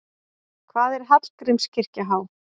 Hvað er Hallgrímskirkja há?